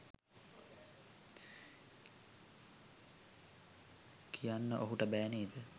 කියන්න ඔහුට බෑ නේද